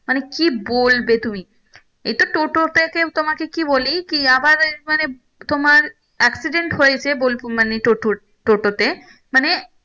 মানে কি বলবে তুমি এইটা টোটো থেকে তোমাকে কি বলি আবার মানে তোমার accident হয়েছে বলবো মানে টোটোর টোটো তে মানে